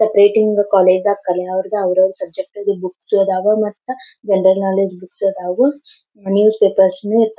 separating the college the colour the ಅವ್ರ್ ಅವರ್ದ ಸಬ್ಜೆಕ್ಟ್ದ್ ಬುಕ್ಸ್ ಅದವ್ ಮತ್ ಜನರಲ್ ನಾಲೆಜ್ ಬುಕ್ಸ್ ಅದವ್ ನ್ಯೂಸ್ಪೇಪರ್ಸ್